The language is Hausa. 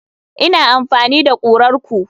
Ina amfani da kurar ku.